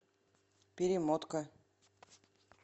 перемотка